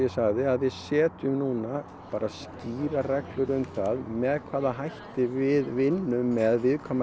við setjum núna skýrar reglur um það með hvaða hætti við vinnum með viðkvæmar